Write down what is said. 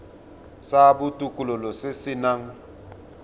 sa botokololo se se nang